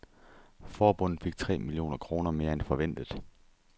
Forbundet fik tre millioner kroner mere end forventet.